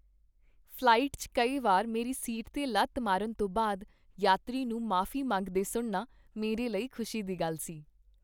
Flight 'ਚ ਕਈ ਵਾਰ ਮੇਰੀ ਸੀਟ 'ਤੇ ਲੱਤ ਮਾਰਨ ਤੋਂ ਬਾਅਦ ਯਾਤਰੀ ਨੂੰ ਮੁਆਫ਼ੀ ਮੰਗਦੇ ਸੁਣਨਾ ਮੇਰੇ ਲਈ ਖ਼ੁਸ਼ੀ ਦੀ ਗੱਲ ਸੀ।